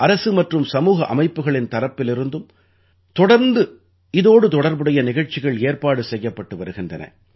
அரசு மற்றும் சமூக அமைப்புகளின் தரப்பிலிருந்தும் தொடர்ந்து இதோடு தொடர்புடைய நிகழ்ச்சிகள் ஏற்பாடு செய்யப்பட்டு வருகின்றன